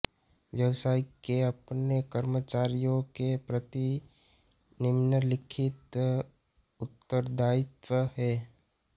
व्यवसाय के अपने कर्मचारियों के प्रति निम्नलिखित उत्तरदायित्व हैं